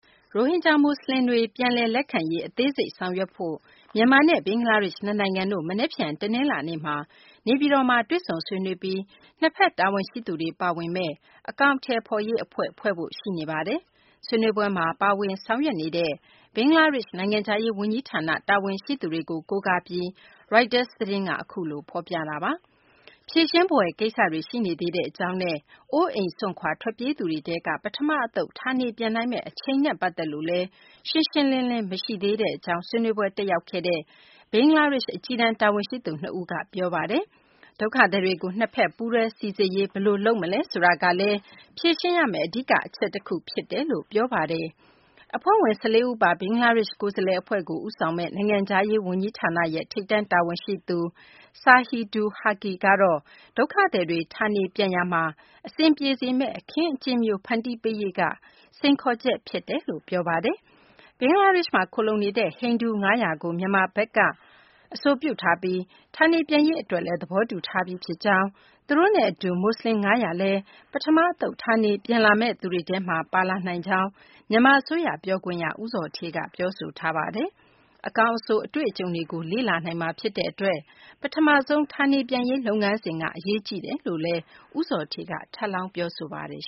ရိုဟင်ဂျာ မူဆလင်တွေ ပြန်လည် လက်ခံရေး အသေးစိတ်ဆောင်ရွက်ဖို့ မြန်မာနဲ့ ဘင်္ဂလားဒေရှ့် နှစ်နိုင်ငံတို့ မနက်ဖြန် တနလာၤနေ့မှာ နေပြည်တော်မှာ တွေ့ဆုံဆွေးနွေးပြီး နှစ်ဘက် တာဝန်ရှိသူတွေ ပါဝင်မယ့် အကောင်အထည်ဖော်ရေး အဖွဲ့ဖွဲ့စည်းဖို့ ရှိနေပါတယ်။ ဆွေးနွေးပွဲမှာ ပါဝင်ဆောင်ရွက်နေတဲ့ ဘင်္ဂလားဒေရှ့် နိုင်ငံခြားရေး ဝန်ကြီးဌာန တာဝန်ရှိသူတွေကို ကိုးကားပြီး ရိုက်တာ သတင်းက အခုလို ဖော်ပြတာပါ။ ဖြေရှင်းဖွယ် ကိစ္စတွေရှိနေသေးကြောင်းနဲ့ အိုးအိမ်စွန့်ခွာ ထွက်ပြေးသူတွေ ထဲက ပထမ အသုတ် ဌာနေ ပြန်နိုင်မယ့် အချိန်နဲ့ ပတ်သက်လို့လည်း ရှင်းရှင်းလင်းလင်း မရှိသေးကြောင်း ဆွေးနွေးပွဲ တက်ရောက်ခဲ့ကြတဲ့ ဘင်္ဂလားဒေရှ့် အကြီးတန်း တာဝန်ရှိသူ နှစ်ဦးက ပြောပါတယ်။ ဒုက္ခသည်တွေကို နှစ်ဘက် ပူးတွဲ စိစစ်ရေး ဘယ်လို လုပ်ဆောင်မလဲ ဆိုတာကလည်း ဖြေရှင်းရမယ့် အဓိက အချက်တခု ဖြစ်တယ်လို့လည်း ပြောပါတယ်။ အဖွဲ့ဝင် ၁၄ ဦးပါ ဘင်္ဂလားဒေရှ့် ကိုယ်စားလှယ် အဖွဲ့ကို ဦးဆောင်မယ့် နိုင်ငံခြားရေး ဝန်ကြီးဌာန ထိပ်တန်း တာဝန်ရှိသူ Shahidul Haque ကတော့ ဒုက္ခသည်တွေ ဌာနေပြန်ရာမှာ အဆင်ပြေစေမယ့် အခင်းအကျင်းမျိုး ဖန်တီးပေးရေးက စိန်ခေါ်ချက် ဖြစ်တယ်လို့ ပြောပါတယ်။ ဘင်္ဂလားဒေရှ့်ကို ထွက်ပြေးခဲ့ကြတဲ့ ဟိန္ဒူ ၅၀၀ ကို မြန်မာဘက်က အဆိုပြုထားပြီး ဌာနေပြန်ရေး အတွက် လည်း သဘောတူထားပြီး ဖြစ်ကြောင်း၊ သူတို့နဲ့ အတူ မူဆလင် ၅၀၀ လည်း ပထမ အသုတ် ဌာနေ ပြန်လာမယ့်သူတွေထဲမှာ ပါလာနိုင်ကြောင်း မြန်မာ အစိုးရ ပြောခွင့်ရ ဦးဇော်ဌေးက ပြောဆိုပါတယ်။ အကောင်း အဆိုး အတွေ့အကြုံတွေကို လေ့လာနိုင်မှာ ဖြစ်တဲ့ အတွက် ပထမဆုံး ဌာနေပြန်ရေး လုပ်ငန်းစဉ်က အရေးကြီးကြောင်းလည်း ဦးဇော်ဌေးက ထပ်လောင်း ပြောဆိုသွားပါတယ်